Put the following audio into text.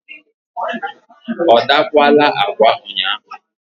ọ dakwaala agwa ụnyaahụ?